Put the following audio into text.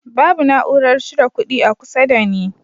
Babu na'urar cire kudi a kusa da ni